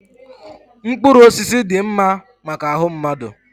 mkpụrụ osisi dị mma maka ahụ mmadụ